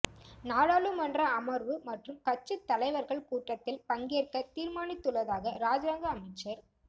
நாடாளுமன்ற அமர்வு மற்றும் கட்சித்தலைவர்கள் கூட்டத்தில் பங்கேற்க தீர்மானித்துள்ளதாக இராஜாங்க அமைச்சர்